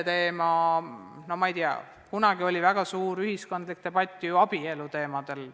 Kunagi oli meil ju väga ulatuslik ühiskondlik debatt pere ja abielu teemadel.